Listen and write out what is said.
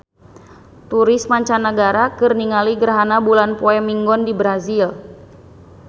Turis mancanagara keur ningali gerhana bulan poe Minggon di Brazil